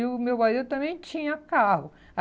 E o meu bairro também tinha carro.